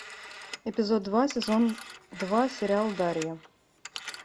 эпизод два сезон два сериал дарья